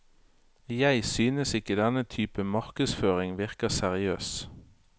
Jeg synes ikke denne typen markedsføring virker seriøs.